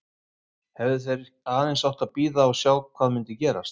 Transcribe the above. Hefðu þeir aðeins átt að bíða og sjá hvað myndi gerast?